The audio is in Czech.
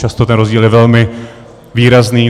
Často ten rozdíl je velmi výrazný.